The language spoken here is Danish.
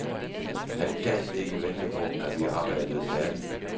Han gad ikke vente på, at vi arbejdede færdig.